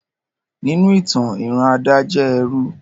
Ninu itan, iran Ada jẹ ẹrú